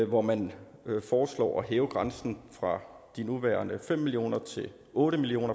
hvor man foreslår at hæve grænsen fra de nuværende fem million euro til otte million